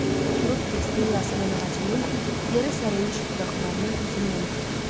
Oturub kəsdiyi Yasəmən ağacının yerə sərilmiş budaqlarına hüznlə baxdı.